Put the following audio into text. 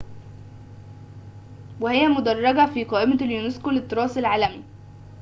وهي مدرجة في قائمة اليونسكو للتراث العالمي